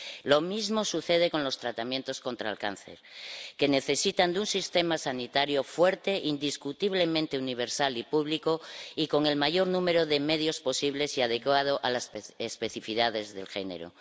Lo mismo sucede con los tratamientos contra el cáncer, que necesitan de un sistema sanitario fuerte, indiscutiblemente universal y público, y con el mayor número de medios posibles y adecuado a las especificidades de género.